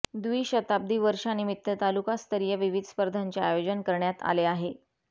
व्दिशताब्दी वर्षानिमित्त तालुकास्तरीय विविध स्पर्धांचे आयोजन करण्यात आले आहे